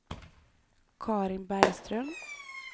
Carin Bergström